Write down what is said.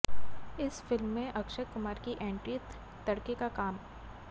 इस फिल्म में अक्षय कुमार की एंट्री तड़के का काम